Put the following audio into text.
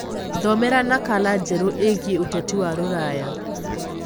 thomera nakala njeru iigie uteti wa ruraya